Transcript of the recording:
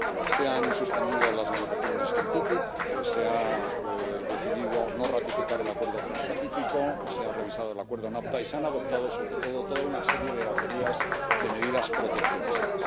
Se han suspendido las negociaciones del TTIP, se ha decidido no ratificar el Acuerdo Transpacífico, se ha revisado el acuerdo NAFTA y se han adoptado sobre todo toda una serie de baterías de medidas proteccionistas.